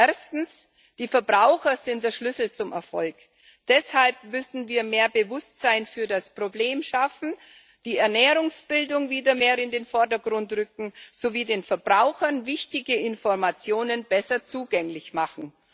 Erstens Die Verbraucher sind der Schlüssel zum Erfolg, deshalb müssen wir mehr Bewusstsein für das Problem schaffen, die Ernährungsbildung wieder mehr in den Vordergrund rücken, sowie den Verbrauchern wichtige Informationen besser zugänglich machen.